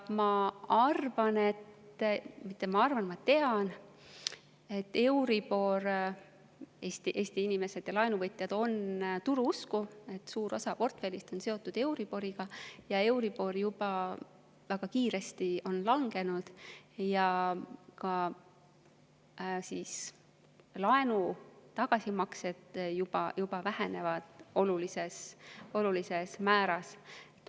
Ma arvan, või ma mitte ei arva, vaid tean, et Eesti inimesed ja laenuvõtjad on turuusku, suur osa portfellist on seotud euriboriga ja euribor on väga kiiresti langenud ning ka laenude tagasimaksed vähenevad juba olulisel määral.